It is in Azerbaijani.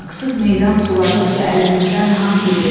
Haqsız meydan suladıqca əlimizdən haqq gedir.